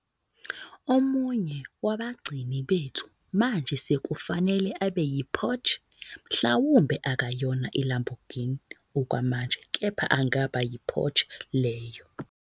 Omunye wabagcini bethu manje sekufanele abe yiPorsche, mhlawumbe akayona iLamborghini okwamanje, kepha angaba yiPorsche leyo.